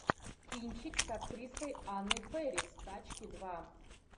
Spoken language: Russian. кинчик с актрисой анной фэрис тачки два